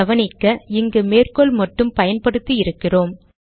கவனிக்க இங்கு மேற்கோள் மட்டும் பயன்படுத்தி இருக்கிறோம்